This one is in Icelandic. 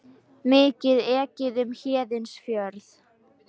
Mikið ekið um Héðinsfjörð